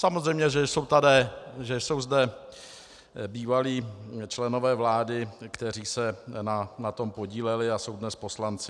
Samozřejmě že jsou zde bývalí členové vlády, kteří se na tom podíleli a jsou dnes poslanci.